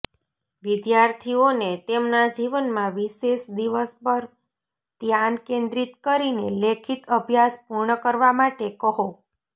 વિદ્યાર્થીઓને તેમના જીવનમાં વિશેષ દિવસ પર ધ્યાન કેન્દ્રિત કરીને લેખિત અભ્યાસ પૂર્ણ કરવા માટે કહો